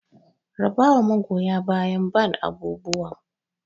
Raba wa magoya bayan ban abubuwan!